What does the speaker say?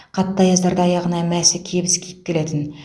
қатты аяздарда аяғына мәсі кебіс киіп келетін